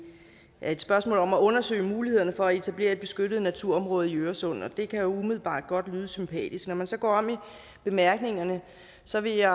er et spørgsmål om at undersøge mulighederne for at etablere et beskyttet naturområde i øresund og det kan umiddelbart godt lyde sympatisk når man så går om i bemærkningerne så vil jeg